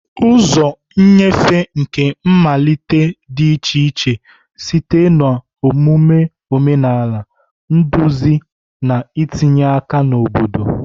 Ụzọ nnyefe nke mmalite dị iche iche site na omume omenala, nduzi, na itinye aka na obodo.